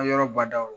Yɔrɔ badaw